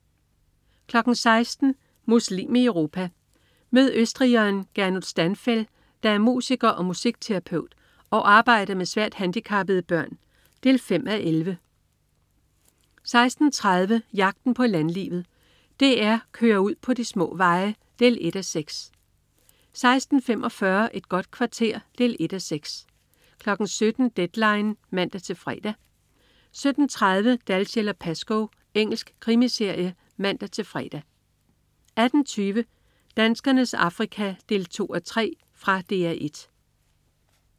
16.00 Muslim i Europa. Mød østrigeren Gernot Stanfel, der er musiker og musikterapeut, og arbejder med svært handicappede børn. 5:11 16.30 Jagten på landlivet. DR kører ud på de små veje. 1:6 16.45 Et godt kvarter. 1:6 17.00 Deadline 17:00 (man-fre) 17.30 Dalziel & Pascoe. Engelsk krimiserie (man-fre) 18.20 Danskernes Afrika 2:3. Fra DR 1